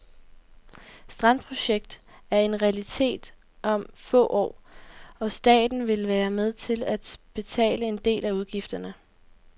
Strandprojekt er en realitet om få år, og staten vil være med til at betale en del af udgifterne.